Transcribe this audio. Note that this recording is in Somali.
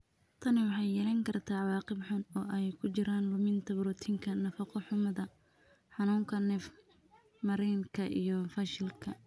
Tani waxay yeelan kartaa cawaaqib xun, oo ay ku jiraan luminta borotiinka, nafaqo-xumada, xanuunka neef-mareenka iyo fashilka.